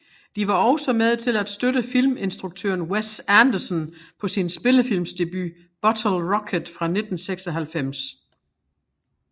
De var også med til at støtte filminstruktøren Wes Anderson på sin spillefilmsdebut Bottle Rocket fra 1996